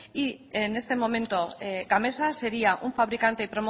y en este momento gamesa sería un fabricante